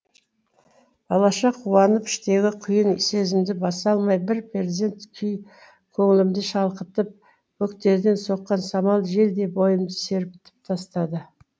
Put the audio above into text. балаша қуанып іштегі құйын сезімді баса алмай бір перзент күй көңілімді шалқытып бөктерден соққан самал желдей бойымды сергітіп тастады